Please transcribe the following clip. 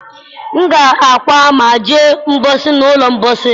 M ga-akwụ maa jee mkposi n'ụlọ mposi?